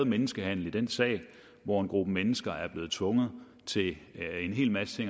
menneskehandel i den sag hvor en gruppe mennesker er blevet tvunget til en hel masse